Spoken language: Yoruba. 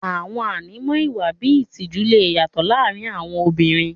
Àwọn ànímọ́ ìwà bíi ìtìjú lè yàtọ̀ láàrin àwọn obìnrin.